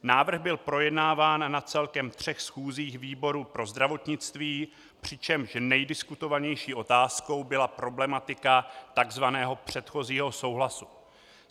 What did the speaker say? Návrh byl projednáván na celkem třech schůzích výboru pro zdravotnictví, přičemž nejdiskutovanější otázkou byla problematika tzv. předchozího souhlasu.